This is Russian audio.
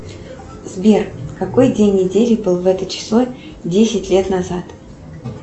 сбер какой день недели был в это число десять лет назад